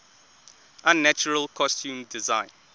unnatural costume design